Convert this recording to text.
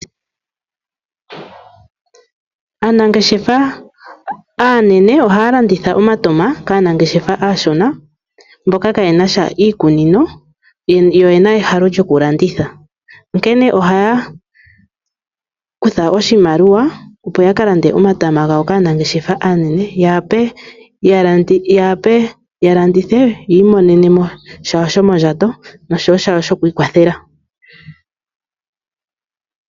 Aanangeshefa aanene ohaya landitha omatama kaanangeshefa aashona mboka kaayena sha iikunino yo oyena ehalo lyokulanditha, onkene ohaya kutha oshimaliwa opo ya ka lande omatama gawo kaanangeshefa aanene, ya wape ya landithe yi imonene mo shawo shomondjato noshowo shawo shoku ikwathela.